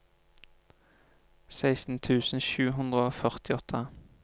seksten tusen sju hundre og førtiåtte